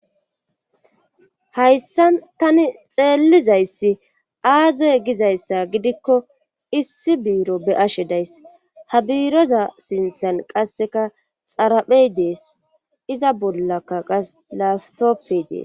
Hayssa tani xeellizayssi aazey gizayssa gidikko issi biiro be ashe days ha biiroza sinthal qasseka xaraphey dees iza bollaka qa laftoppe dees.